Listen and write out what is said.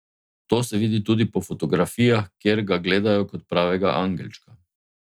To se vidi tudi po fotografijah, kjer ga gledajo kot pravega angelčka.